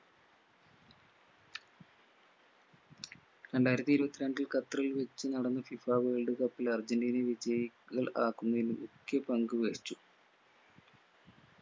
രണ്ടായിരത്തി ഇരുപത്തി രണ്ടിൽ ഖത്തറിൽ വെച്ച് നടന്ന FIFA world cup ൽ അർജന്റീനയെ വിജയികൾ ആക്കുന്നയിൽ മുഖ്യ പങ്ക് വഹിച്ചു